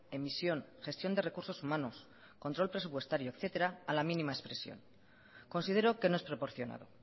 emisión gestión de recursos humanos control presupuestario etcétera a la mínima expresión considero que no es proporcionado